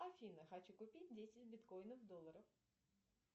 афина хочу купить десять биткоинов долларов